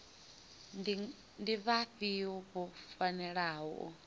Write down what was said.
ndi vhafhio vho fanelaho u